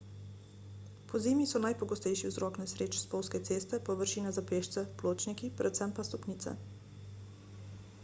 pozimi so najpogostejši vzrok nesreč spolzke ceste površine za pešce pločniki predvsem pa stopnice